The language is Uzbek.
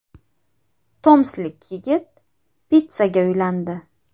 Tomsklik yigit pitssaga uylandi.